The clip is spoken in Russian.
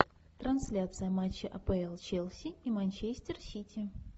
трансляция матча апл челси и манчестер сити